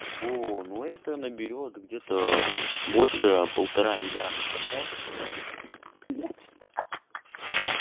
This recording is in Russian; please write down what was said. о ну это наберёт где-то больше полтора миллиарда просмотров блядь ха-ха